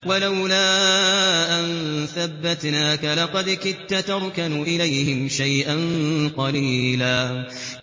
وَلَوْلَا أَن ثَبَّتْنَاكَ لَقَدْ كِدتَّ تَرْكَنُ إِلَيْهِمْ شَيْئًا قَلِيلًا